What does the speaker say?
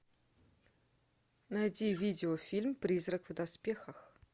найти видеофильм призрак в доспехах